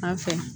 An fɛ